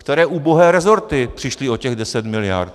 Které ubohé rezorty přišly o těch 10 mld.?